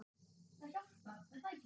Það hjálpar er það ekki?